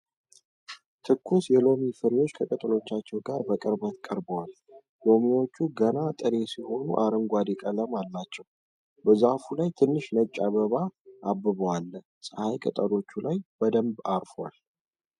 ትኩስ የሎሚ ፍሬዎች ከቅጠሎቻቸው ጋር በቅርበት ቀርበዋል። ሎሚዎቹ ገና ጥሬ ስለሆኑ አረንጓዴ ቀለም አላቸው። በዛፉ ላይ ትንሽ ነጭ አበባ አብቦ አለ። ፀሐይ ቅጠሎቹ ላይ በደንብ አርፏል።